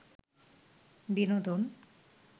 বিনোদন